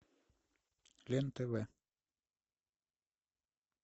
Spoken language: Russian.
лен тв